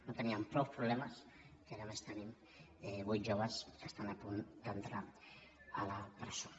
no teníem prou problemes que ara a més tenim vuit joves que estan a punt d’entrar a la presó